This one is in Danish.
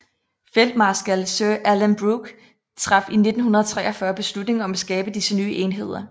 Feltmarskal Sir Alan Brooke traf i 1943 beslutning om at skabe disse nye enheder